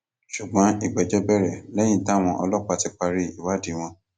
ṣùgbọn ìgbẹjọ bẹrẹ lẹyìn táwọn ọlọpàá ti parí ìwádìí wọn